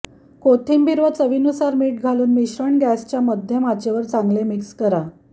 कोथिंबीर व चवीनुसार मीठ घालून मिश्रण गॅसच्या मध्यम आचेवर चांगले मिक्स करा